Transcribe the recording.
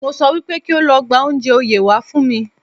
Mo sọ wípé kí o lọ gba oúnjẹ oyè wá fún mi